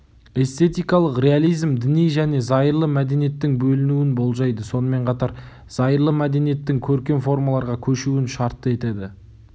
эстетикалық реализм діни және зайырлы мәдениеттің бөлінуін болжайды сонымен қатар зайырлы мәдениеттің көркем формаларға көшуін шартты етеді